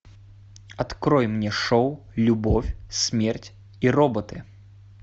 открой мне шоу любовь смерть и роботы